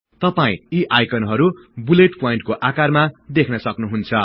तपाई यी आईकनहरु बुलेट प्वाईन्टस्को आकारमा देख्न सक्नुहुन्छ